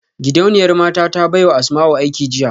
Gidauniyar mata ta baiwa Asmau aiki jiya